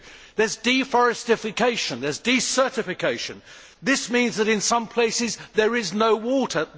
2 there is deforestation and desertification. This means that in some places there is no water.